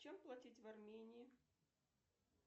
чем платить в армении